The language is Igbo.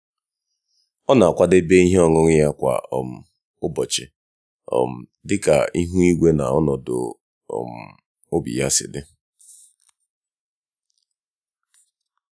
ọ na-akwadebe ihe ọṅụṅụ ya kwa um ụbọchị um dịka ihu igwe na ọnọdụ um obi ya si dị.